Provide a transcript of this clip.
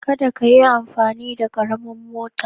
Kada ka yi amfani da karamin mota